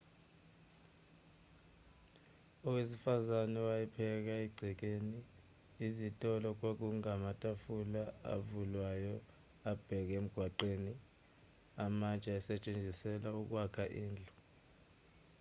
owesifazane wayepheka egcekeni izitolo kwakungamatafula avulwayo abheke emgwaqweni amatshe ayesetshenziselwa ukwakha izindlu